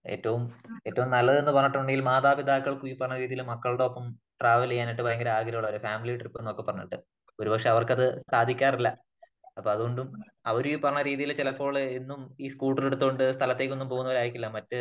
ഏറ്റവും ഏറ്റവും നല്ലത് എന്ന് പറഞ്ഞിട്ടുണ്ടെങ്കിൽ , മാതാപിതാക്കൾക്ക് മക്കളുടെ ഒപ്പം ട്രാവെൽ ചെയ്യാനായിട്ട് ഭയങ്കര ആഗ്രഹമുള്ളവരാണ് . ഫാമിലി ട്രിപ്പ് എന്നൊക്കെ പറഞ്ഞിട്ട് . ഒരു പക്ഷേ അവർക്കത് സാധിക്കാറില്ല . അപ്പോ അത് കൊണ്ടും . അവർ ഈ പറഞ്ഞ രീതിയില് ചിലപ്പോൾ എന്നും ഈ സ്കൂട്ടർ എടുതോണ്ട് സ്ഥലത്തേക്ക് ഒന്നും പോകുന്നവരായിരിക്കില്ല . മറ്റ്